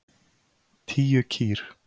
Tíu kýr.